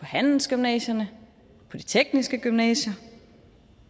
handelsgymnasierne på de tekniske gymnasier